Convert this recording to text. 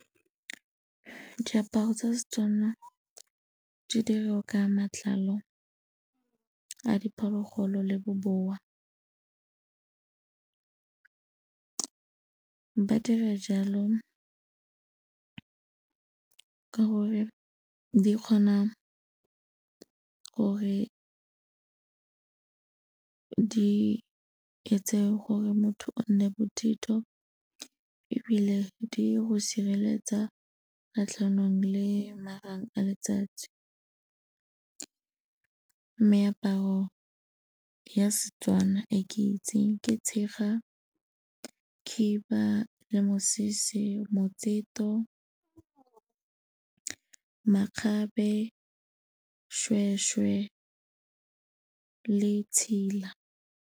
Diaparo tsa seTswana di diriwa ka matlalo a diphologolo le bobowa, ba dira jalo ka gore di kgona gore di etse gore motho o nne bothitho ebile di go sireletsa kgatlhanong le marang a letsatsi. Meaparo ya seTswana e ke itseng ke tshega, khiba le mosese, motseto, makgabe, shweshwe le tshela.